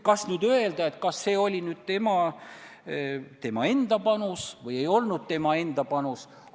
Kas nüüd öelda, et see oli tema enda panus või ei olnud tema enda panus?